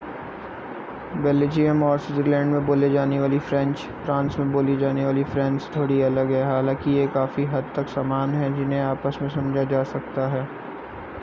Belgium और Switzerland में बोली जाने वाली फ़्रेंच फ़्रांस में बोली जाने वाली फ़्रेंच से थोड़ी अलग है हालांकि ये काफ़ी हद तक समान हैं जिन्हें आपस में समझा जा सकता है